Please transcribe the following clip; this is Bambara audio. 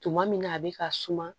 Tuma min na a bɛ ka suma